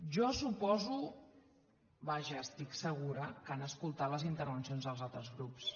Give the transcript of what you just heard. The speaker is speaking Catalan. jo suposo vaja n’estic segura que han escoltat les intervencions dels altres grups